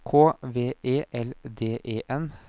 K V E L D E N